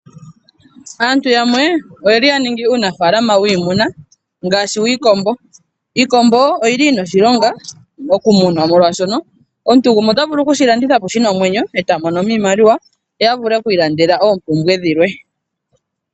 Aantu yamwe oyeli ya ningi uunafalama wiimuna, ngaashi wiikombo. Iikombo oyili yina oshilonga moku munwa molwashono, omuntu gumwe ota vulu okushi landitha po shina omwenyo e ta monomo iimaliwa ye a vule oku ilandela oompumbwe dhilwe.